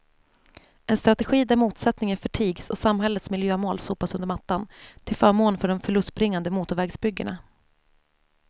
En strategi där motsättningen förtigs och samhällets miljömål sopas under mattan till förmån för de förlustbringande motorvägsbyggena.